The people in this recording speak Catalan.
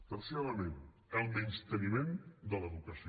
tercer element el menysteniment de l’educació